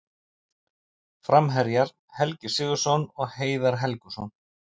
Framherjar: Helgi Sigurðsson og Heiðar Helguson.